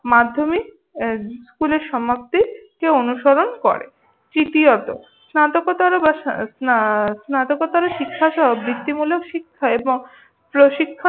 মাধ্যমিক এর স্কুলের সমাপ্তিকে অনুসরণ করে। তৃতীয়ত স্নাতকোত্তর বা সা স্না স্নাতকোত্তর শিক্ষাসহ বৃত্তিমূলক শিক্ষা হয় এবং প্রশিক্ষণ